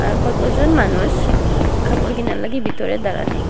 আর কতজন মানুষ কাপড় কেনার লাগি বিতরে দারানি।